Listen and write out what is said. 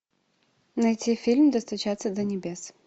найти фильм достучаться до небес